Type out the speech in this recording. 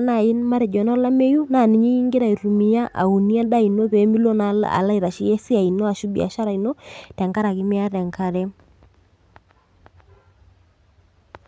naai matejo enolameyu naa ninye iyie ingira aunie endaa ino pee milo naal alo aitasheyie esiai ino ashu biashara ino tenkaraki miata enkare.